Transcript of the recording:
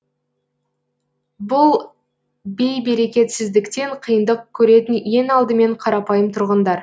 бұл бейберекетсіздіктен қиындық көретін ең алдымен қарапайым тұрғындар